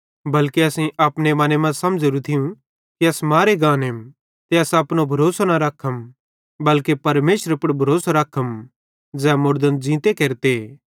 बल्के असेईं अपने मने मां समझ़ोरू थियूं कि अस मारे गानेम ते अस अपनो भरोसो न रखम बल्के परमेशरे पुड़ भरोसो रखम ज़ै मुड़दन ज़ींते केरते